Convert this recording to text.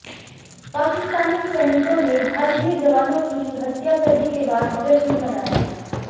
पाकिस्तानी सैनिको ने भारतीय जवानों की हत्या करने के बाद जश्न मनाया